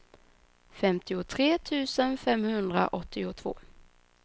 femtiotre tusen femhundraåttiotvå